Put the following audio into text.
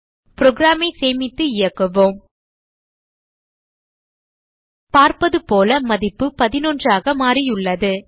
program ஐ சேமித்து இயக்குவோம் பார்ப்பதுபோல மதிப்பு 11 ஆக மாறியுள்ளது